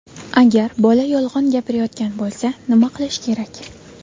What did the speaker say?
Agar bola yolg‘on gapirayotgan bo‘lsa, nima qilish kerak?.